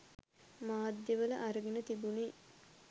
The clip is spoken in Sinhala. මාධ්‍ය වල අරගෙන තිබුණේ.